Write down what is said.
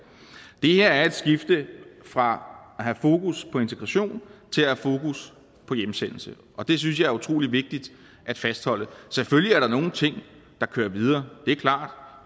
bliver her er et skifte fra at have fokus på integration til at have fokus på hjemsendelse og det synes jeg er utrolig vigtigt at fastholde selvfølgelig er der nogle ting der kører videre det er klart